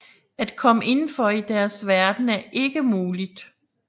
At komme indenfor i deres verden er ikke muligt